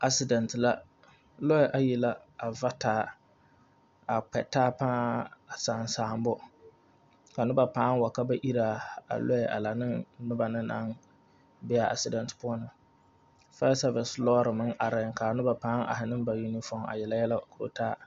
Accident la, lɔe a yi la a va taa,a kpɛ taa baa! a saasaabo, ka noba baaŋ wa ka ba iri a lɔɛ laŋne a noba naŋ be a accident poɔ na, fire service meŋ areŋ, ka a noba baŋ are ne o uniform, a yeleyelɛ koro taa.